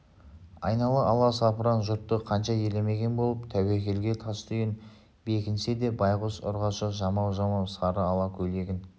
айнала аласапыран жұртты қанша елемеген болып тәуекелге тастүйін бекінсе де байғұс ұрғашы жамау-жамау сары ала көйлегін